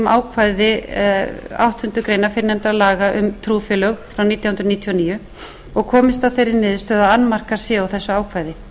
ákvæði áttundu greinar fyrrnefndra laga um trúfélög frá nítján hundruð níutíu og níu og komist að þeirri niðurstöðu að annmarkar séu á þessu ákvæði